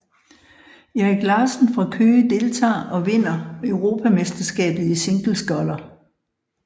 Erik Larsen fra Køge deltager og vinder europamesterskabet i single sculler